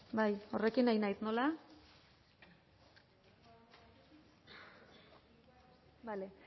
bai horrekin ari naiz nola bale